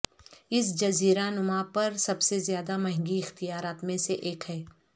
اس جزیرہ نما پر سب سے زیادہ مہنگی اختیارات میں سے ایک ہے